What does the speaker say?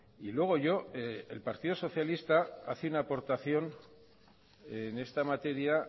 y luego yo el partido socialista hace una aportación en esta materia